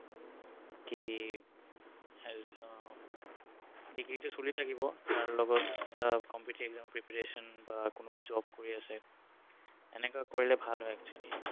কি আহ degree তো চলি থাকিব তাৰ লগত এটা competitive exam ৰ preparation বা কোনোবা job কৰি আছে এনেকুৱা কৰিলে ভাল হয় actually